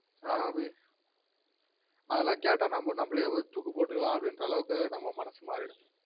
ஆஹ் அபி அதெல்லாம் கேட்டா நமக்கு நாம்லே தூக்கு போட்டுகலான் அப்டின்ற அளவுக்கு நம்ம மனசு மாறிடும்